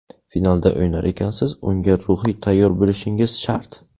Finalda o‘ynar ekansiz, unga ruhiy tayyor bo‘lishingiz shart.